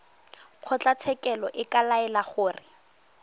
kgotlatshekelo e ka laela gore